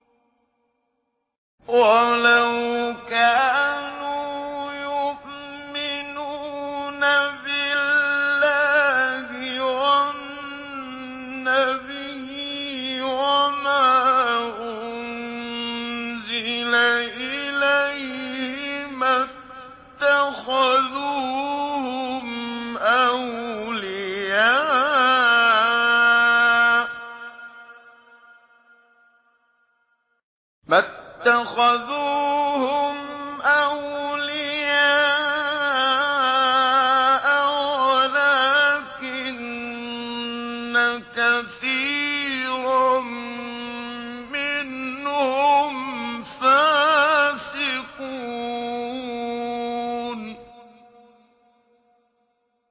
وَلَوْ كَانُوا يُؤْمِنُونَ بِاللَّهِ وَالنَّبِيِّ وَمَا أُنزِلَ إِلَيْهِ مَا اتَّخَذُوهُمْ أَوْلِيَاءَ وَلَٰكِنَّ كَثِيرًا مِّنْهُمْ فَاسِقُونَ